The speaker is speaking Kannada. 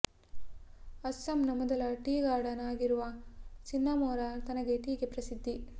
ಅಸ್ಸಾಂನ ಮೊದಲ ಟೀ ಗಾರ್ಡನ್ ಆಗಿರುವ ಸಿನ್ನಮೊರಾ ತನ್ನ ಟೀಗೆ ಪ್ರಸಿದ್ಧಿ